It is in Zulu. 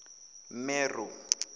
mero